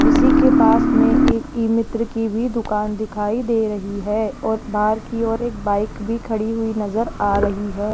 किसी के पास में एक ईमित्र की भी दुकान दिखाई दे रही है और बाहर की ओर एक बाइक भी खड़ी हुई नजर आ रही है।